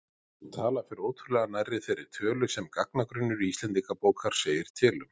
Sú tala fer ótrúlega nærri þeirri tölu sem gagnagrunnur Íslendingabókar segir til um.